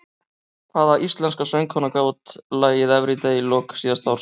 Hvaða íslenska söngkona gaf út lagið Everyday í lok síðasta árs?